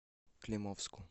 климовску